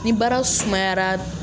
Ni baara sumayara